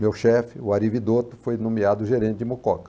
Meu chefe, o Ari Vidotto, foi nomeado gerente de Mucoca.